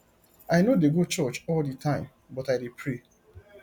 i no dey go church all the time but i dey pray